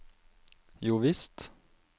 jovisst